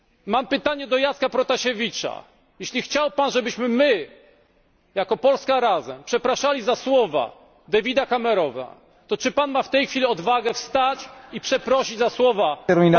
Mam pytanie do Jacka Protasiewicza skoro chciał Pan, żebyśmy my, jako Polska Razem, przepraszali za słowa Davida Camerona, to czy ma Pan w tej chwili odwagę wstać i przeprosić za słowa E.